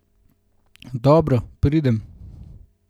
Dobro, pridem.